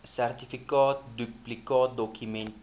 sertifikaat duplikaatdokument ten